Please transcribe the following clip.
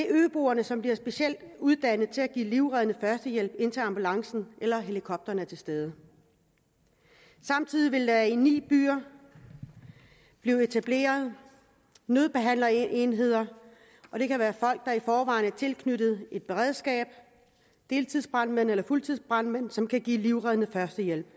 øboere som bliver specielt uddannet til at give livreddende førstehjælp indtil ambulancen eller helikopteren er til stede samtidig vil der i ni byer blive etableret nødbehandlerenheder det kan være folk der i forvejen er tilknyttet et beredskab deltidsbrandmænd eller fuldtidsbrandmænd som kan give livreddende førstehjælp